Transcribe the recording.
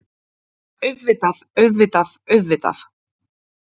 Auðvitað, auðvitað, auðvitað.